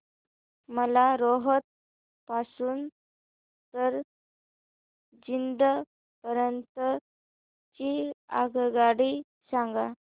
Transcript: मला रोहतक पासून तर जिंद पर्यंत ची आगगाडी सांगा